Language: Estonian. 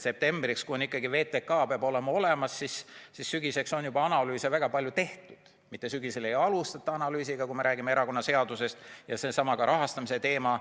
Septembriks peab ikkagi VTK olemas olema ja seega sügiseks on juba analüüse väga palju tehtud, mitte sügisel ei alustata analüüsiga, kui me räägime erakonnaseadusest ja sellestsamast rahastamise teemast.